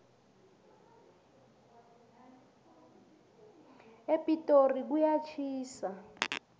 epitori kuyatjhisa